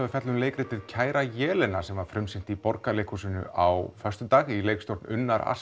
að fjalla um leikritið kæra Jelena sem var frumsýnt í Borgarleikhúsinu á föstudag í leikstjórn Unnar